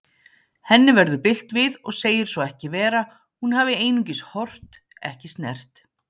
Henni verður bilt við og segir svo ekki vera, hún hafi einungis horft, ekki snert.